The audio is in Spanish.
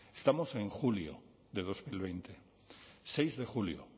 estamos en julio de dos mil veinte seis de julio